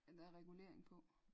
Er der regulering på